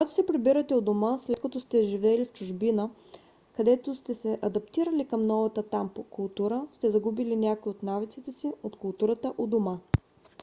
когато се прибирате у дома след като сте живели в чужбина където сте се адаптирали към новата там култура сте загубили някои от навиците си от културата у дома